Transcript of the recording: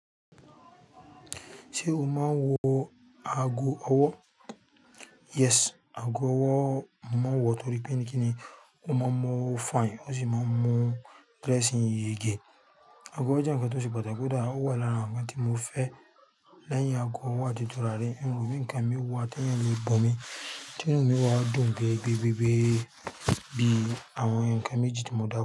Ṣé o máa ń wọ ago ọwọ́? Yes, ago ọwọ́ mo máa ń wọ torí pé ní kíni ó máa ń mú ọwọ́ fine, ó sì máa ń mu dressing yege. Ago ọwọ́ jẹ́ ǹkan tó ṣe pàtàkì koda, ó wà lara àwọn ǹkan tí mo fẹ́. Lẹ́yìn ago ọwọ́ àti turari, in ro bi ǹkan mí wà t'eeyan lè bunmí, tí inú mi o wà dùn-gẹgẹ bí àwọn ǹkan méjì tí mo dárúkọ.